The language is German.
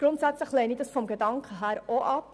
Vom Gedanken her lehne ich diesen Antrag ab.